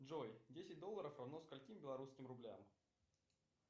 джой десять долларов равно скольким белорусским рублям